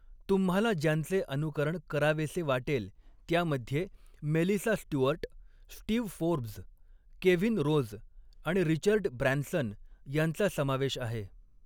तुम्हाला ज्यांचे अनुकरण करावेसे वाटेल, त्यामध्ये Melissa Stuart, Steve Forbes, Kevin Rose आणि रिचर्ड ब्रॅन्सन यांचा समावेश आहे.